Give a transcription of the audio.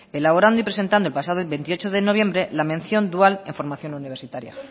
elaborando y presentando el pasado veintiocho de noviembre la mención dual en formación universitaria